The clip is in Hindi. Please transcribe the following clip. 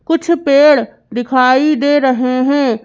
कुछ पेड़ दिखाई दे रहे हैं।